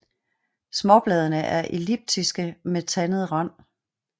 Småbladene er elliptiske med tandet rand